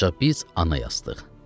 Ancaq biz ana yazdıq.